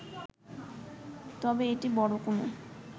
তবে এটি বড় কোনো